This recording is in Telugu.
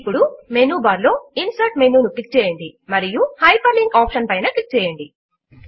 ఇప్పుడు మెనూ బార్ లో ఇన్సెర్ట్ మెనూ ను క్లిక్ చేయండి మరియు హైపర్లింక్ ఆప్షన్ పైన క్లిక్ చేయండి